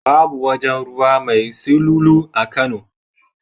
Babu wajen ruwa mai silulu a Kano.